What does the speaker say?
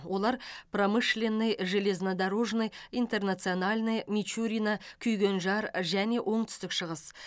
олар промышленный железнодорожный интернациональный мичурино күйгенжар және оңтүстік шығыс